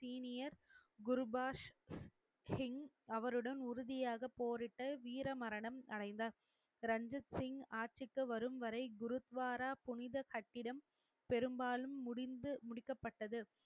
senior Gurbax Singh அவருடன் உறுதியாக போரிட்டு வீர மரணம் அடைந்தார் ரஞ்சித் சிங் ஆட்சிக்கு வரும் வரை குருத்வாரா புனித கட்டிடம் பெரும்பாலும் முடிந்து முடிக்கப்பட்டது